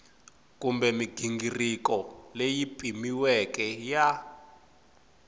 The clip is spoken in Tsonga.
kumbe mighingiriko leyi pimiweke ya